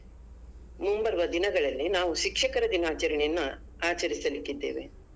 ದಿನಗಳಲ್ಲಿ ನಾವು ಶಿಕ್ಷಕರ ದಿನಾಚರಣೆಯನ್ನ ಆಚರಿಸ್ಲಿಕ್ಕೆ ಇದ್ದೇವೆ.